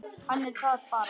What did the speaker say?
Hann er það bara.